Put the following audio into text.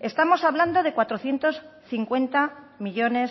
estamos hablando de cuatrocientos cincuenta millónes